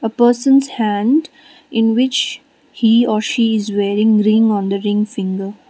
a person's hand in which he or she is wearing ring on the ring finger.